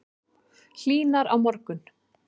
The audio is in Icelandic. Hlýnar á morgun